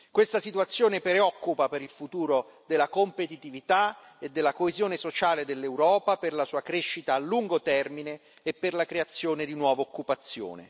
Questa situazione preoccupa per il futuro della competitività e della coesione sociale dell'Europa, per la sua crescita a lungo termine e per la creazione di nuova occupazione.